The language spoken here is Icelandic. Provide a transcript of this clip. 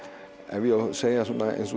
ef ég á að segja eins og